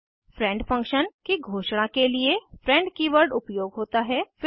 friend function की घोषणा के लिए फ्रेंड कीवर्ड उपयोग होता है